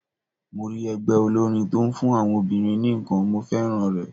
Mo rí ẹgbẹ́ olórin tó kún fún àwọn obìnrin nìkan, mo féràn rẹ̀.